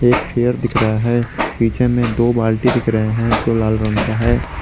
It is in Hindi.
एक चेयर दिख रहा है पीछे में दो बाल्टी दिख रहे हैं जो लाल रंग का है।